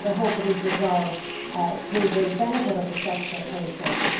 I hope it is resolved to the benefit of the sector very shortly.